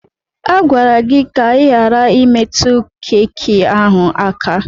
A gwara gị ka ị ghara imetụ keki ahụ aka!